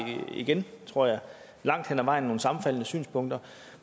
igen tror jeg langt hen ad vejen nogle sammenfaldende synspunkter